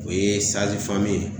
O ye ye